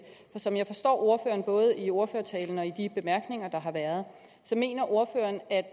som jeg forstår ordføreren både i ordførertalen og i de bemærkninger der har været mener ordføreren at